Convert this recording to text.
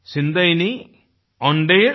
मुप्पधु कोड़ी मुगामुदायल एनिल माईपुरम ओंद्रुदयाल